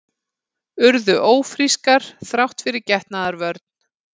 Urðu ófrískar þrátt fyrir getnaðarvörn